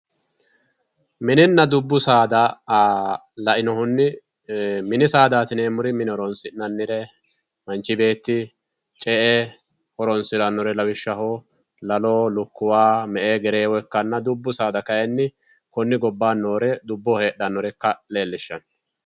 mininna dubu saada la"inohunni mini saadati yineemori mine horronsi'nannire manchi beetti ce"e horonsirannore lawishshaho lalo, lukuwa, me"e, gereewo ikkanna dubbu saada kayiini kone gobbani heexannore dubboho heexanore ikka lellishanno.